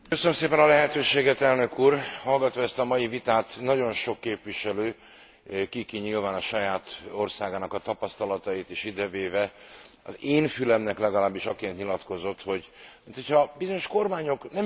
Hallgatva ezt a mai vitát, nagyon sok képviselő ki ki nyilván a saját országának a tapasztalatait is idevéve az én fülemnek legalábbis, akinek nyilatkozott, hogy, minthogyha bizonyos kormányok nem igazán szeretnék ezt a programot.